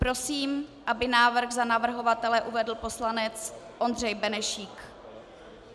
Prosím, aby návrh za navrhovatele uvedl poslanec Ondřej Benešík.